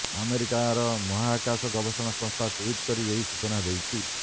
ଆମେରିକାର ମହାକାଶ ଗବେଷଣା ସଂସ୍ଥା ଟ୍ୱିଟ୍ କରି ଏହି ସୂଚନା ଦେଇଛି